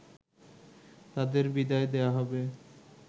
তাদের বিদায় দেয়া হবে